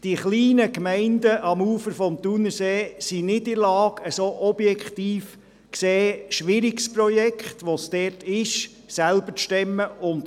Die kleinen Gemeinden am Ufer des Thunersees sind nicht in der Lage, ein solches objektiv gesehen schwieriges Projekt selber zu stemmen.